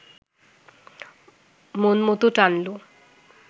মনমতো টানলো